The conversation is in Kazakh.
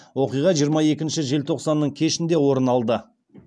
оқиға жиырма екінші желтоқсанның кешінде орын алды